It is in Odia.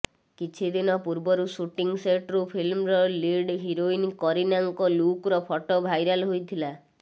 କିଛିଦିନ ପୂର୍ବରୁ ଶୁଟିଂ ସେଟ୍ରୁ ଫିଲ୍ମର ଲିଡ୍ ହିରୋଇନ୍ କରୀନାଙ୍କ ଲୁକ୍ର ଫଟୋ ଭାଇରାଲ୍ ହୋଇଥିଲା